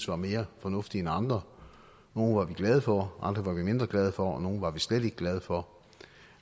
var mere fornuftige end andre nogle var vi glade for andre var vi mindre glade for og nogle var vi slet ikke glade for